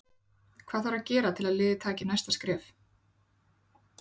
Hvað þarf að gera til að liðið taki næsta skref?